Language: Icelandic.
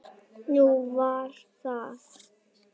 Nú, var það?